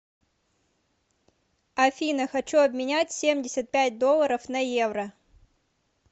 афина хочу обменять семьдесят пять долларов на евро